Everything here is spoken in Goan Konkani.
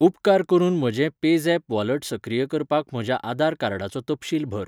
उपकार करून म्हजें पेझॅप वॉलट सक्रिय करपाक म्हज्या आधार कार्डाचो तपशील भर.